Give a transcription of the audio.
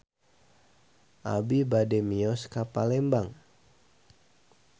Abi bade mios ka Palembang